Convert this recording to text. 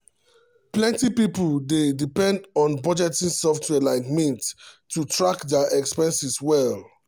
plenty people dey depend on budgeting software like mint to track dia expenses well.